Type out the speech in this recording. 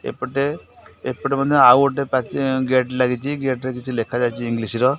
ଏପେଟେ ଏପେଟେ ମଧ୍ୟ ଆଉ ଗୋଟେ ପାଚେରି ଗେଟ୍ ଲାଗିଚି ଗେଟ୍ ରେ କିଛି ଲେଖା ଯାଇଚି ଇଂଲିଶ ର।